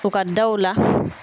U ka daw la.